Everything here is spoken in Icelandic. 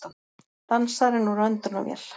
Dansarinn úr öndunarvél